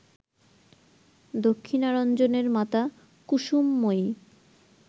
দক্ষিণারঞ্জণের মাতা কুসুমময়ী